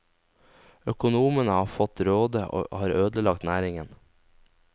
Økonomene har fått råde og har ødelagt næringen.